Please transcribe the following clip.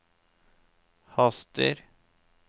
haster